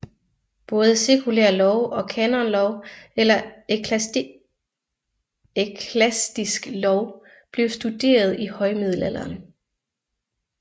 Både sekulær lov og kanonlov eller eklastisk lov blev studeret i højmiddelalderen